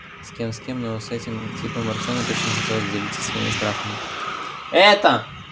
с кем с кем но с этим типом артему точно не хотелось делиться своими страхами эта